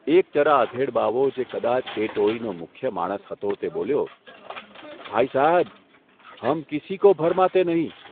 એક જરા આધેડ બાવો જે કદાચ એ ટોળીનો મુખ્ય માણસ હતો તે બોલ્યો, 'ભાઇસાહબ, હમ કીસીકો ભરમાતે નહીં.